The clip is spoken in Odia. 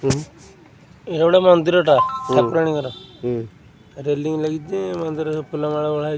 ଏଇଟା ଗୋଟେ ମନ୍ଦିର ଟା ଠାକୁରାଣୀଙ୍କର ରିଲିଂ ଲାଗିଛି ମନ୍ଦିର ରେ ଫୁଲ ମାଳ ଓଳା ହେଇ --